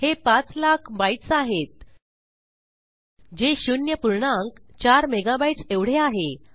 हे पाच लाख बाइट्स आहेत जे शून्य पूर्णांक चार मेगाबाईट्स एवढे आहे